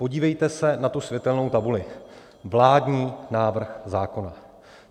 Podívejte se na tu světelnou tabuli - vládní návrh zákona.